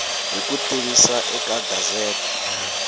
hi ku tivisa eka gazette